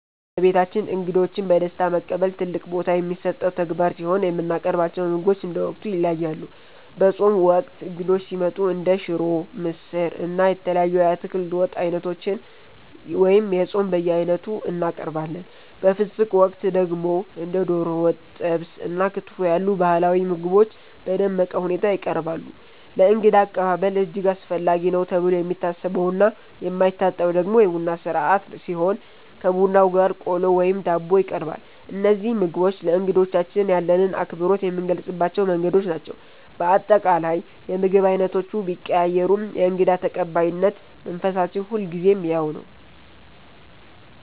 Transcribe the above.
በቤታችን እንግዶችን በደስታ መቀበል ትልቅ ቦታ የሚሰጠው ተግባር ሲሆን፣ የምናቀርባቸው ምግቦች እንደ ወቅቱ ይለያያሉ። በጾም ወቅት እንግዶች ሲመጡ እንደ ሽሮ፣ ምስር፣ እና የተለያዩ የአትክልት ወጥ ዓይነቶችን (የጾም በየዓይነቱ) እናቀርባለን። በፍስግ ወቅት ደግሞ እንደ ዶሮ ወጥ፣ ጥብስ እና ክትፎ ያሉ ባህላዊ ምግቦች በደመቀ ሁኔታ ይቀርባሉ። ለእንግዳ አቀባበል እጅግ አስፈላጊ ነው ተብሎ የሚታሰበውና የማይታጣው ደግሞ የቡና ሥርዓት ሲሆን፣ ከቡናው ጋር ቆሎ ወይም ዳቦ ይቀርባል። እነዚህ ምግቦች ለእንግዶቻችን ያለንን አክብሮት የምንገልጽባቸው መንገዶች ናቸው። በአጠቃላይ፣ የምግብ ዓይነቶቹ ቢቀያየሩም የእንግዳ ተቀባይነት መንፈሳችን ሁልጊዜም ያው ነው።